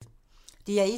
DR1